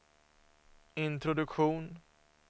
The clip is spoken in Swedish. introduktion